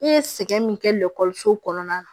I ye sɛgɛn min kɛ kɔnɔna na